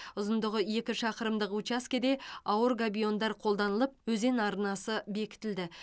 ұзындығы екі шақырымдық учаскеде ауыр габиондар қолданылып өзен арнасы бекітілді